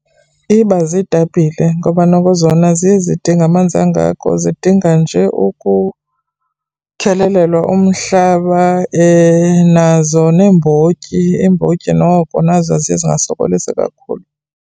Iba ziitapile ngoba noko zona aziye zidinge amanzi angako, zidinga nje ukukhelelelwa umhlaba, nazo neembotyi, iimbotyi noko nazo ziye zingasokolisi kakhulu.